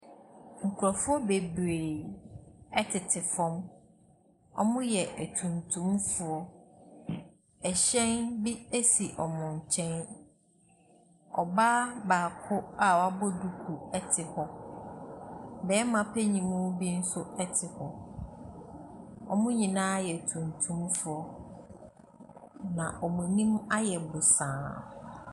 Nkrɔfoɔ bebree ɛtete fɔm. Wɔmo yɛ atuntum foɔ. Ɛhyɛn bi esi wɔmo nkyɛn. Ɔbaa baako a wabɔ duku ɛte hɔ. Bɛɛma panimu bi nso ɛte hɔ. Wɔmo nyinaa yɛ atuntum foɔ, na wɔn anim ayɛ bosaa.